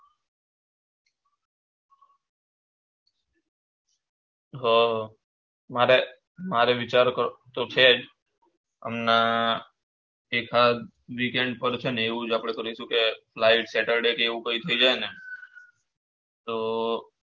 અર મારે મારે વિચાર તો છે જ અમ એકાદ weekend પર છેન એવું જ આપડે કરીશું કે live saturday કે એવું કૈક થઇ જાને તો